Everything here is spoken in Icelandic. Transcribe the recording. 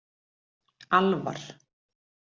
Alvar